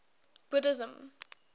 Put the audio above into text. buddhism